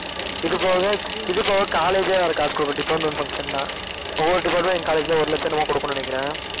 இதுபோக இதுபோக college வேற காசு கொடுக்கும் department function ன்னா ஒவ்வொரு department கு எங்க college ல ஒரு லட்சம் என்னமோ கொடுக்கும்னு நினைக்குறேன்